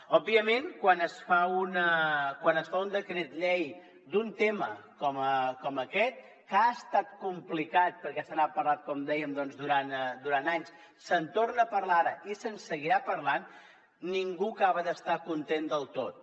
òbviament quan es fa un decret llei d’un tema com aquest que ha estat complicat perquè se n’ha parlat com dèiem doncs durant anys se’n torna a parlar ara i se’n seguirà parlant ningú acaba d’estar content del tot